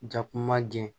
Jakuma jɛn